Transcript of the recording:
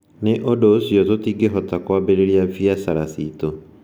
Nĩ ũndũ ũcio, tũtingĩhota kwambĩrĩria biacara citũ.